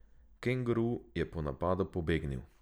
Kenguru je po napadu pobegnil.